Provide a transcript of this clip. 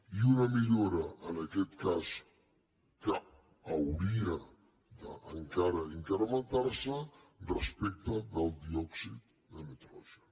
i una millora en aquest cas que hauria encara d’incrementar se respecte del diòxid de nitrogen